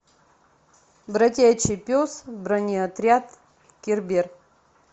бродячий пес бронеотряд кербер